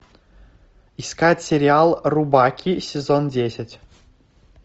искать сериал рубаки сезон десять